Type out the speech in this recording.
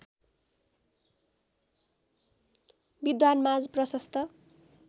विद्वान्माझ प्रशस्त